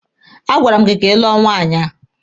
A gwara m gị ka ị lụọ nwaanyị a!